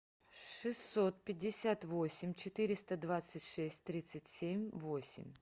шестьсот пятьдесят восемь четыреста двадцать шесть тридцать семь восемь